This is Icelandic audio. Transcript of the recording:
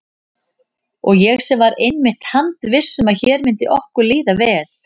Og ég var einmitt handviss um að hér myndi okkur líða vel.